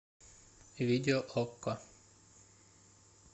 видео окко